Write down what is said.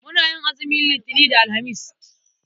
Muna yin azumin Litinin da Alhamis.